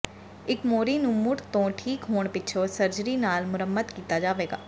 ਇਸ ਮੋਰੀ ਨੂੰ ਮੁੜ ਤੋਂ ਠੀਕ ਹੋਣ ਪਿੱਛੋਂ ਸਰਜਰੀ ਨਾਲ ਮੁਰੰਮਤ ਕੀਤਾ ਜਾਵੇਗਾ